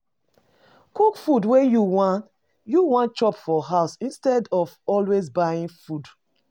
Cook food wey you wan you wan chop for house instead of always buying food